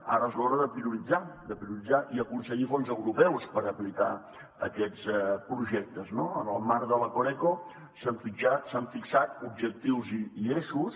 ara és l’hora de prioritzar de prioritzar i aconseguir fons europeus per aplicar aquests projectes no en el marc de la coreco s’han fitxat objectius i eixos